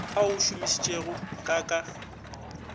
a o šomišitšego ka ka